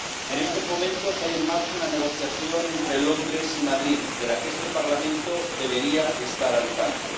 En estos momentos, hay en marcha una negociación entre Londres y Madrid de la que este Parlamento debería estar al tanto.